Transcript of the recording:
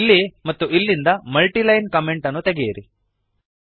ಇಲ್ಲಿ ಮತ್ತು ಇಲ್ಲಿಂದ ಮಲ್ಟಿ ಲೈನ್ ಕಾಮೆಂಟ್ ಅನ್ನು ತೆಗೆಯಿರಿ